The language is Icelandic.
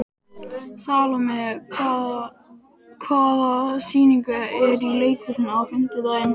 Salome, hvaða sýningar eru í leikhúsinu á fimmtudaginn?